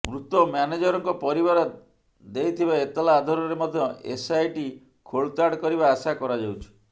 ମୃତ ମ୍ୟାନେଜରଙ୍କ ପରିବାର ଦେଇଥିବା ଏତଲା ଆଧାରରେ ମଧ୍ୟ ଏସଆଇଟି ଖୋଳତାଡ କରିବା ଆଶା କରାଯାଉଛି